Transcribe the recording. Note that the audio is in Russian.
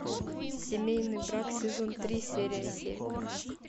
семейный брак сезон три серия семь